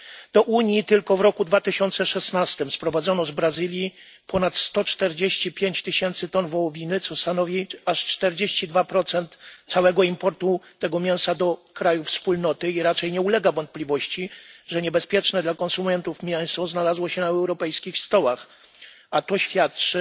Do Unii tylko w roku 2016 sprowadzono z Brazylii ponad 145 tys. ton wołowiny, co stanowi aż 42 całego importu tego mięsa do krajów Wspólnoty, i raczej nie ulega wątpliwości, że niebezpieczne dla konsumentów mięso znalazło się na europejskich stołach, a to świadczy